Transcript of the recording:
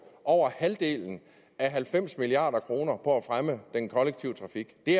over halvdelen af halvfems milliard kroner på at fremme den kollektive trafik det